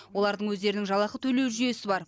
олардың өздерінің жалақы төлеу жүйесі бар